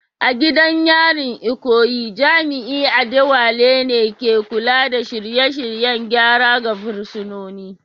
A gidan yarin Ikoyi, jami’in Adewale ne ke kula da shirye-shiryen gyara ga fursunoni